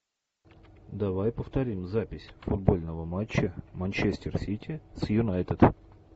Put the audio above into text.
давай повторим запись футбольного матча манчестер сити с юнайтед